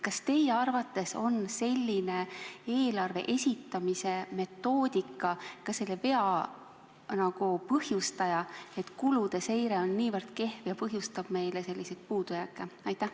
Kas teie arvates on selline eelarve esitamise metoodika ka selle vea põhjustaja, et kulude seire on niivõrd kehv ja põhjustab meile selliseid puudujääke?